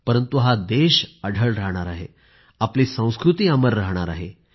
परंतु हा देश अढळ राहणार आहे आपली संस्कृती अमर राहणार आहे